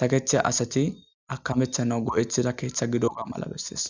saketheya asati akamethana go7eththida keeththa gidoga mala bessees